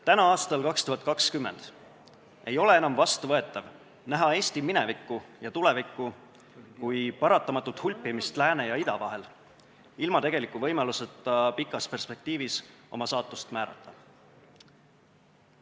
Täna, aastal 2020 ei ole enam vastuvõetav näha Eesti minevikku ja tulevikku kui paratamatut hulpimist lääne ja ida vahel, ilma tegeliku võimaluseta pikas perspektiivis oma saatust määrata.